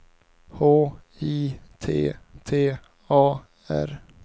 H I T T A R